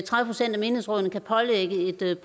menighedsrådene kan pålægge et